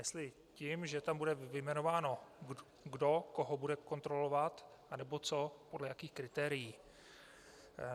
Jestli tím, že tam bude vyjmenováno, kdo koho bude kontrolovat, anebo co a podle jakých kritérií.